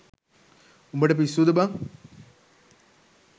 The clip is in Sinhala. උඹට පිස්සුද බං